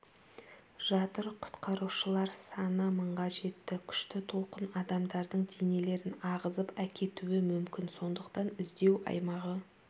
жатыр құтқарушылар саны мыңға жетті күшті толқын адамдардың денелерін ағызып әкетуі мүмкін сондықтан іздеу аймағы